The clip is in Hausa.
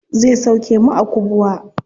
Zai sauke mu a kubwa.